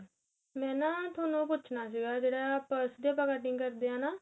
ਮੈਂ ਨਾ ਤੁਹਾਨੂੰ ਪੁੱਛਣਾ ਸੀਗਾ ਜਿਹੜਾ purse ਤੇ ਆਪਾਂ cutting ਕਰਦੇ ਆ ਨਾ